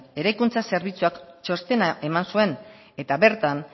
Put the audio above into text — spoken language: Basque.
eraikuntza zerbitzuak txostena eman zuen eta bertan